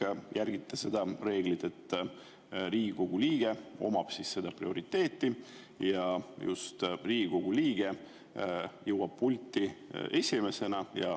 – ikka järgite seda reeglit, et Riigikogu liige omab prioriteeti ja just Riigikogu liige jõuab pulti esimesena.